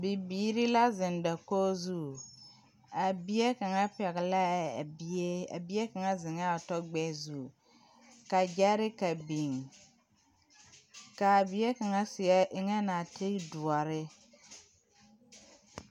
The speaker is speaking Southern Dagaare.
Bibiiri la zeŋ dakori zu, a bie kaŋa. zeŋɛ o tɔ gbɛɛ zu, ka gyɛreka biŋ kaa bie kaŋa eŋe nɔɔtere doɔre